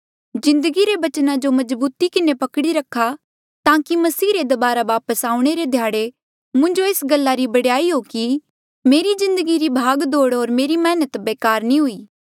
जिन्दगी रे बचना जो मजबूती किन्हें पकड़ी रखा ताकि मसीह रे दबारा वापस आऊणें रे ध्याड़े मुंजो एस गल्ला रा बडयाई हो कि मेरी जिन्दगी री भाग दोड़ होर मेरी मैहनत बेकार नी हुई